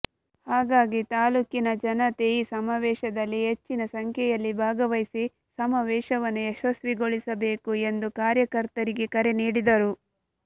ಹಾಗಾಗಿ ತಾಲ್ಲೂಕಿನ ಜನತೆ ಈ ಸಮಾವೇಶದಲ್ಲಿ ಹೆಚ್ಚಿನ ಸಂಖ್ಯೆಯಲ್ಲಿ ಭಾಗವಹಿಸಿ ಸಮಾವೇಶವನ್ನು ಯಶಸ್ವಿಗೊಳಿಸಬೇಕು ಎಂದು ಕಾರ್ಯಕರ್ತರಿಗೆ ಕರೆ ನೀಡಿದರು